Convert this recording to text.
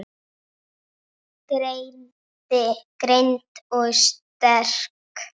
Greind og sterk.